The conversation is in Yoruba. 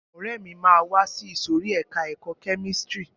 Ọ̀rẹ́ mi máa wá sí ìsòrí ẹka ẹ̀kọ́ kẹ́místrì.